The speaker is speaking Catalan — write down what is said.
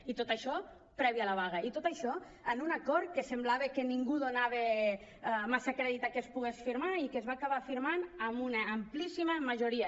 i tot això prèviament a la vaga i tot això amb un acord que semblava que ningú donava massa crèdit perquè es pogués firmar i que es va acabar firmant amb una amplíssima majoria